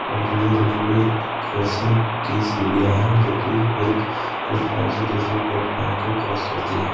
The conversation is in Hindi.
और ये रेलवे क्रॉसिंग की सीढ़ियां हैं जो कि एक प्लेटफार्म से दूसरे प्लेटफार्म को क्रॉस करती है।